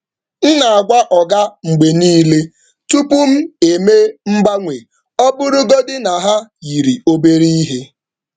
M na-agwa oga mgbe niile um tupu m eme mgbanwe, ọ bụrụgodị na ha yiri obere ihe.